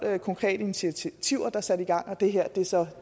konkrete initiativer der er sat i gang og det her er så